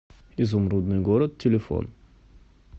изумрудный город телефон